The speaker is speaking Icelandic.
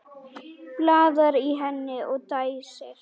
Blaðar í henni og dæsir.